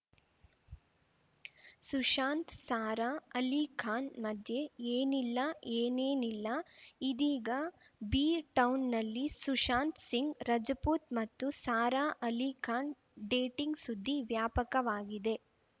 ಸುಶಾಂತ್‌ ಸಾರಾ ಅಲಿ ಖಾನ್‌ ಮಧ್ಯೆ ಏನಿಲ್ಲಾ ಏನೇನಿಲ್ಲಾ ಇದೀಗ ಬಿ ಟೌನ್‌ನಲ್ಲಿ ಸುಶಾಂತ್‌ ಸಿಂಗ್‌ ರಜಪೂತ್‌ ಮತ್ತು ಸಾರಾ ಅಲಿ ಖಾನ್‌ ಡೇಟಿಂಗ್‌ ಸುದ್ದಿ ವ್ಯಾಪಕವಾಗಿದೆ